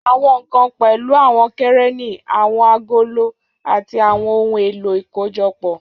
Àwọn nkan pẹ̀lú àwọn kẹ̀rẹ́nì, àwọn agolo, àti àwọn ohun èlò ìkójọpọ̀.